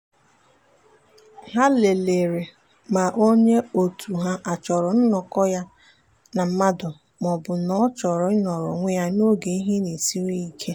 ha lelere ma onye otu ha a chọrọ nnọkọ ya na mmadụ maọbụ ma ọ chọrọ ịnọrọ onwe ya n'oge ihe na-esiri ya ike.